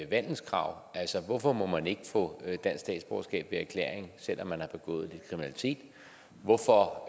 vandelskrav hvorfor må man ikke få dansk statsborgerskab ved erklæring selv om man har begået kriminalitet hvorfor